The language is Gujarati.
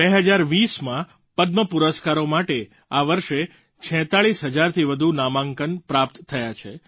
2020માં પદ્મ પુરસ્કારો માટે આ વર્ષે 46 હજારથી વધુ નામાંકન પ્રાપ્ત થયા છે